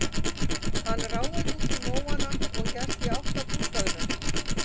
Hann ráfaði út í móana og hélt í átt að bústaðnum.